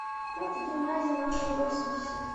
фото гимназия номер восемьдесят